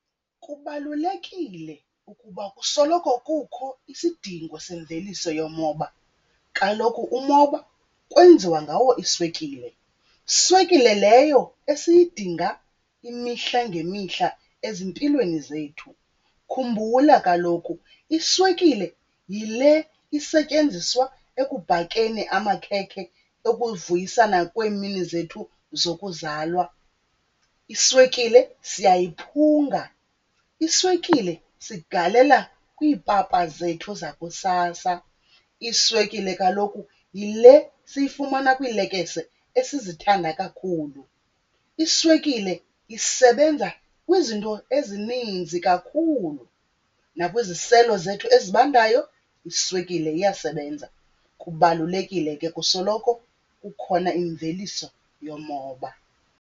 Kubalulekile ukuba kusoloko kukho isidingo semveliso yomoba. Kaloku umoba kwenziwa ngawo iswekile, swekile leyo esiyidinga imihla ngemihla ezimpilweni zethu. Khumbula kaloku iswekile yile isetyenziswa ekubhakeni amakhekhe ekuvuyisana kweemini zethu zokuzalwa. Iswekile siyayiphunga, iswekile sigalelela kwiipapa zethu zakusasa. Iswekile kaloku yile siyifumana kwiilekese esizithanda kakhulu. Iswekile isebenza kwizinto ezininzi kakhulu, nakwiziselo zethu ezibandayo iswekile iyasebenza. Kubalulekile ke kusoloko kukhona imveliso yomoba.